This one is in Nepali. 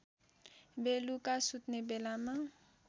बेलुका सुत्ने बेलामा